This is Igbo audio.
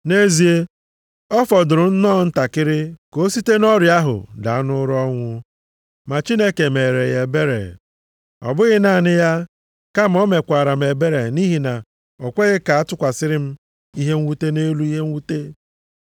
Nʼezie, ọ fọdụrụ nnọọ ntakịrị ka o site nʼọrịa ahụ daa nʼụra ọnwụ. Ma Chineke meere ya ebere. Ọ bụghị naanị ya, kama o mekwaara m ebere, nʼihi na o kweghị ka a tụkwasịrị m ihe mwute nʼelu ihe mwute.